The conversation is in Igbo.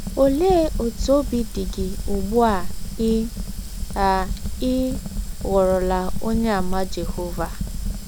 Ọlee ọtụ ọbi dị gị ụgbụ a ị a ị ghọrọla Ọnyeàmà Jehọva?